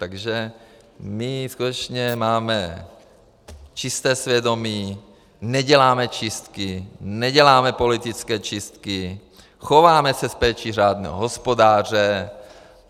Takže my skutečně máme čisté svědomí, neděláme čistky, neděláme politické čistky, chováme se s péčí řádného hospodáře.